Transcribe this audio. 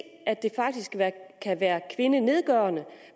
at det faktisk kan være kvindenedgørende